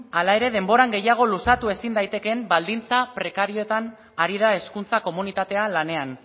halere denboran gehiago luzatu ezin daitezkeen baldintza prekarioetan ari da hezkuntza komunitatea lanean